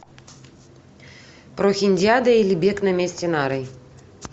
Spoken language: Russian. прохиндиада или бег на месте нарой